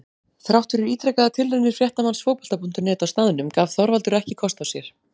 Þrátt fyrir ítrekaðar tilraunir fréttamanns Fótbolta.net á staðnum gaf Þorvaldur ekki kost á sér.